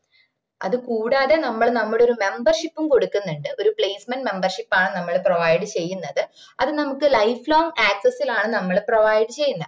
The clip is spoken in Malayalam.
അത് കൂടാതെ നമ്മള് നമ്മുടേ ഒര് membership ഉം കൊടുക്കുന്നുണ്ട് ഒര് placement membership ആണ് നമ്മള് provide ചെയ്യുന്നത്‌ അത് നമുക്ക് life long access ലാണ് നമ്മള് provide ചെയ്യുന്നേ